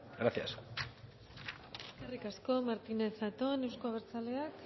gracias eskerrik asko martínez zatón euzko abertzaleak